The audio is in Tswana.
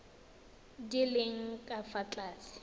di leng ka fa tlase